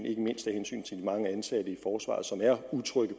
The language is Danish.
ikke mindst af hensyn til de mange ansatte i forsvaret som er utrygge